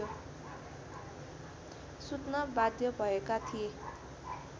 सुत्न बाध्य भएका थिए